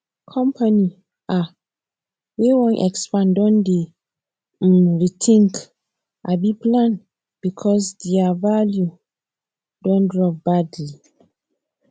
company um wey wan expand don dey um rethink um plan because naira value don drop badly